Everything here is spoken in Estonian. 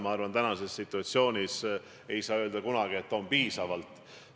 Ma arvan, et praeguses situatsioonis ei saa kunagi öelda, et infot on piisavalt.